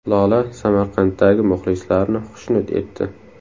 Lola Samarqanddagi muxlislarini xushnud etdi .